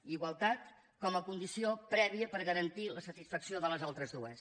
i igualtat com a condició prèvia per garantir la satisfacció de les altres dues